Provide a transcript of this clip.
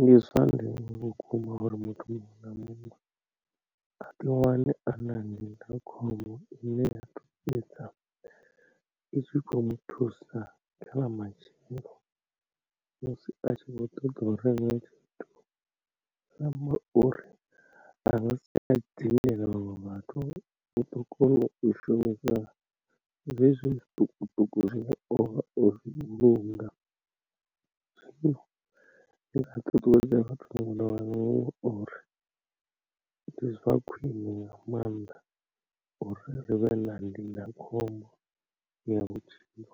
Ndi zwa ndeme vhukuma uri muthu muṅwe na muṅwe a ḓi wane ana ndindakhombo ine ya ḓo fhedza itshi khou muthusa kha ḽa matshelo musi a tshi kho ṱoḓa u renga zwi amba uri a zwa siya dzimbilaelo vhathu u ḓo kona u shumisa zwezwo zwiṱukuṱuku zwine ovha o vhulunga. Ndi nga ṱuṱuwedza vhathu muhulwane uri ndi zwa khwiṋe nga maanḓa uri ri vhe na ndindakhombo ya vhutshilo